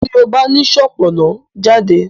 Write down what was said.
ti o ba ni Sopona jade!